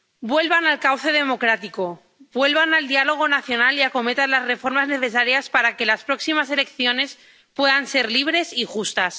Vuelvan al cauce democrático, vuelvan al diálogo nacional y acometan las reformas necesarias para que las próximas elecciones puedan ser libres y justas.